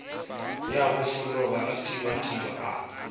ya bofologa a kibakiba a